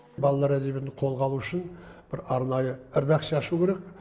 балалар әдебиетін қолға алу үшін бір арнайы редакция ашу керек